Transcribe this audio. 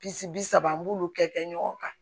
Bisi bi saba an b'olu kɛ ɲɔgɔn kan